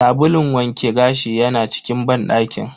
Sabulun wanke gashi yana cikin banɗakin.